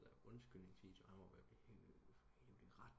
Lave undskyldningsvideoer han var ved at blive hævet i retten